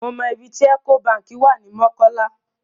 Mo mọ ibi tí Ecobank wà ní Mọ́kọ́lá.